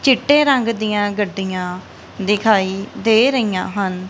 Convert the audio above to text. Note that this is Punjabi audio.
ਚਿੱਟੇ ਰੰਗ ਦੀਆਂ ਗੱਡੀਆਂ ਦਿਖਾਈ ਦੇ ਰਹੀਆਂ ਹਨ।